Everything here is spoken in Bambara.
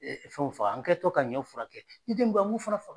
fɛnw faga an kɛ to ka ɲɔw furakɛ, m be an ŋ'o fana fa